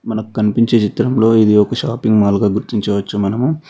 మనకు కనిపించే చిత్రంలో ఇది ఒక షాపింగ్ మాల్ గా గుర్తించవచ్చు మనము.